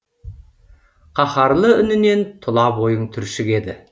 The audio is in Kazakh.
қаһарлы үнінен тұла бойың түршігеді